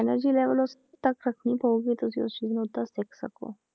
Energy level ਉਸ ਤੱਕ ਰੱਖਣੀ ਪਊਗੀ ਤੁਸੀਂ ਉਸ ਚੀਜ਼ ਨੂੰ ਓਦਾਂ ਸਿੱਖ ਸਕੋ